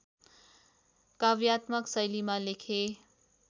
काव्यात्मक शैलीमा लेखे